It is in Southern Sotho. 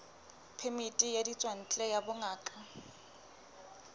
phemiti ya ditswantle ya bongaka